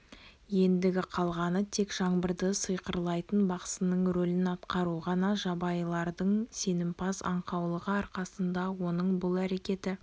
ендігі қалғаны тек жаңбырды сиқырлайтын бақсының ролін атқару ғана жабайылардың сенімпаз аңқаулығы арқасында оның бұл әрекеті